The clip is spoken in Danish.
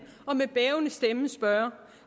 og med bævende stemme spørge